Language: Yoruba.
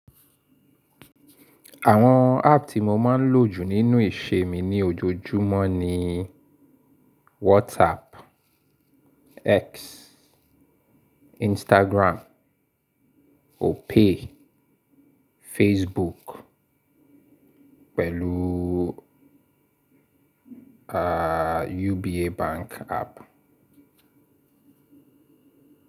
Àwọn app tí mo máa ń lò jù nínú ìṣe mi ní ojojúmọ́ ní WhatsApp, X, Instagram, Opay, Facebook pẹ̀lú, aah, UBA bank app.